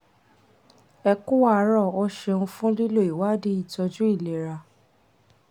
ẹ ku àárọ̀ o ṣeun fún lílo ìwádìí ìtọ́jú ilera